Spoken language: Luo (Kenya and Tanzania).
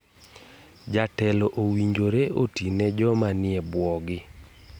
Jotelo owinjore otine joma nie buogi.